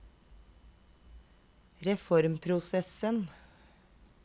reformprosessen